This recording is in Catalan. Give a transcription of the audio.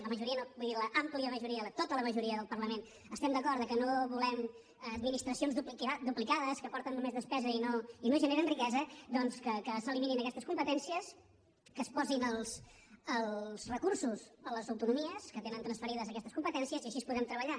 la majoria no vull dir l’àmplia majoria tota la majoria del parlament estem d’acord que no volem administracions duplicades que porten només despesa i no generen riquesa doncs que s’eliminin aquestes competències que es posin els recursos a les autonomies que tenen transferides aquestes competències i així podrem treballar